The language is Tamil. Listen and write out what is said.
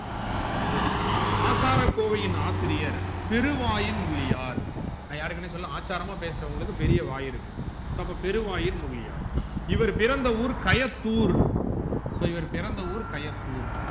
ok ஆசாரகோவையின் ஆசிரியர் திருவாயின் முள்ளியார் நான் யாருக்குன்னு சொல்லல ஆச்சாரமா பேசுறவங்களுக்கு பெரிய வாய் இருக்கும் அப்ப பெருவாயின் முள்ளியார் இவர் பிறந்த ஊர் கயத்தூர் so இவர் பிறந்த ஊர் கயத்தூர்